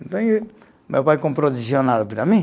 Então, meu pai comprou dicionário para mim.